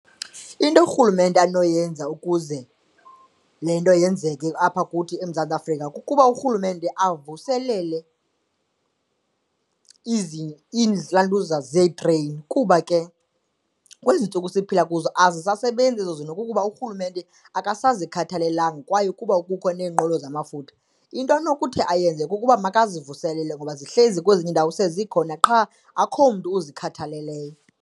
Into urhulumente anoyenza ukuze le nto yenzeke apha kuthi eMzantsi Afrika kukuba urhulumente avuselele ilantuza zeetreyini kuba ke kwezi ntsuku siphila kuzo azisasebenzi ezo zinto kukuba urhulumente akasazikhathalelanga kwaye ukuba kukho neenqwelo zamafutha. Into anokuthi ayenze kukuba makazivuselele ngoba zihleli kwezinye iindawo sezikhona qha akukho mntu uzikhathaleleyo.